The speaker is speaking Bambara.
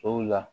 O la